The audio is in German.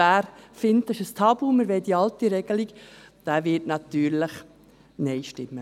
Wer findet, dass es ein Tabu ist und weiterhin die alte Regelung will, wird natürlich Nein stimmen.